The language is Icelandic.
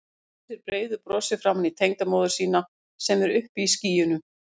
Hún brosir breiðu brosi framan í tengdamóður sína sem er uppi í skýjunum.